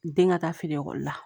Den ka taa fini ekɔli la